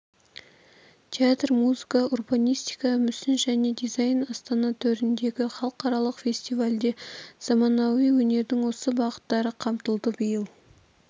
театр музыка урбанистика мүсін және дизайн астана төріндегі халықаралық фестивальде заманауи өнердің осы бағыттары қамтылды биыл